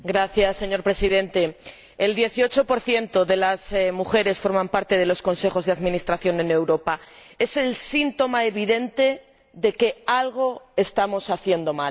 Señor Presidente, solo el dieciocho por ciento de las mujeres forma parte de los consejos de administración en Europa. Es el síntoma evidente de que algo estamos haciendo mal